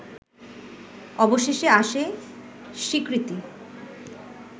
অবশেষে আসে স্বীকৃতি